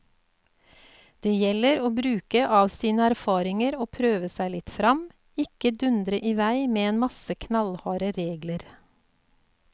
Det gjelder å bruke av sine erfaringer og prøve seg litt frem, ikke dundre i vei med en masse knallharde regler.